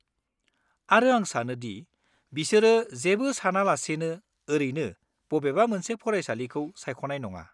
-आरो आं सानोदि बिसोरो जेबो सानालासेनो ओरैनो बबेबा मोनसे फरायसालिखौ सायख'नाय नङा।